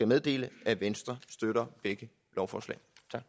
meddele at venstre støtter begge lovforslag